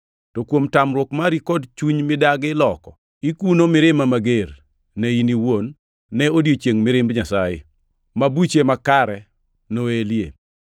To kuom tamruok mari kod chunyi midagi loko, ikuno mirima mager, ne in iwuon ne odiechieng mirimb Nyasaye, ma buche makare noelie.